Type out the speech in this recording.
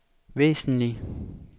væsentlig